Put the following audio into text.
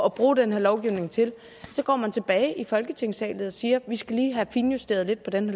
at bruge den her lovgivning til at så går man tilbage i folketingssalen og siger vi skal lige have finjusteret den